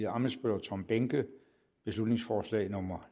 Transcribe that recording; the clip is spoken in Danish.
ammitzbøll og tom behnke beslutningsforslag nummer